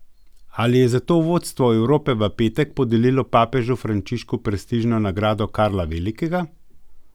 Ali je zato vodstvo Evrope v petek podelilo papežu Frančišku prestižno nagrado Karla Velikega?